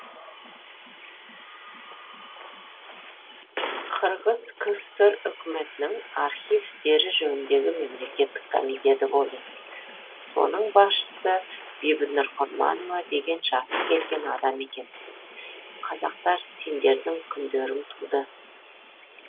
қырғыз кср үкіметінің архив істері жөніндегі мемлекеттік комитеті болды соның басшысы бибінұр құрманова деген жасы келген адам екен қазақтар сендердің күндерің туды